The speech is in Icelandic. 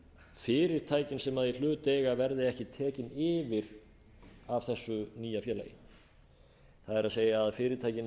fyrirtækin sem í hlut eiga verði ekki tekin yfir af þessu nýja félagi það er að fyrirtækin